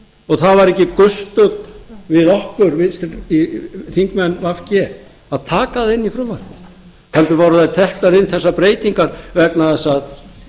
og það var ekki gesti við okkur þingmenn v g að taka það inn í frumvarpið heldur voru þær teknar inn þessar breytingar vegna þess að